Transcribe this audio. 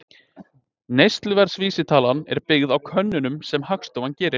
Neysluverðsvísitalan er byggð á könnunum sem Hagstofan gerir.